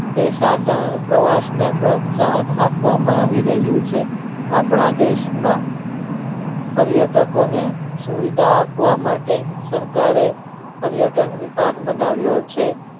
દેશાટન માં પ્રવાસ માં ને પ્રોશાહન આપવામાં આવી રહ્યું છે આપણા દેશ માં પરિય તકો નો સુવિધા આપવા માટે સરકારે પરિયતં વિભાગો બનવ્યા છે